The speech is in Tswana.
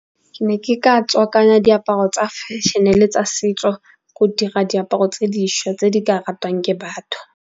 Ke ne ke ka tswakanya diaparo tsa fashion-e le tsa setso, go dira diaparo tse dišwa tse di ka ratwang ke batho.